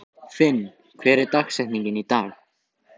Finn, hver er dagsetningin í dag?